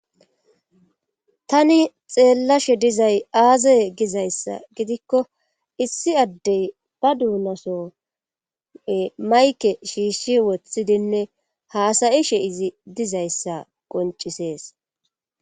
tani xeellashe dizay aaze gizayssa gidikko issi addeyi ba duunaso mayike shiishshi woththidinne haasayishe izzi dizayissa qoncisees.